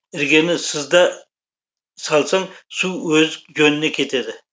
іргені сыз да салсаң су өз жөніне кетеді